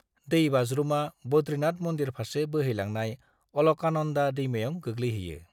दै-बाज्रुमा बद्रीनाथ मन्दिर फारसे बोहैलांनाय अलकानन्दा दैमायाव गोग्लैहैयो।